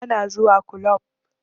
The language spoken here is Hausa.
Ba na zuwa kulob